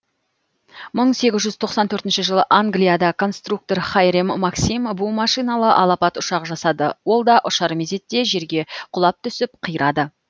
мың сегіз жүз тоқсан төртінші жылы англияда конструктор хайрем максим бу машиналы алапат ұшақ жасады ол да ұшар мезетте жерге құлап түсіп қирады